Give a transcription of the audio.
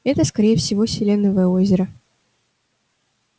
это скорее всего селеновое озеро